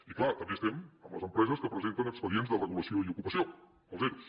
i clar també estem amb les empreses que presenten expedients de regulació i ocupació els ero